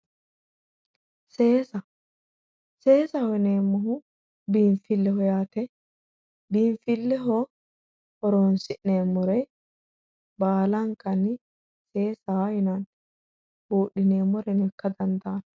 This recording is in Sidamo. Seesa, seesaho yineemmohu biinfileho yaate, biinfileho horonsi'neemmore baallankanni seesa yinnanni budhineemmoreno ikka dandaano.